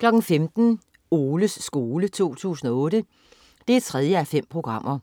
15.00 Oles skole 2008 3:5.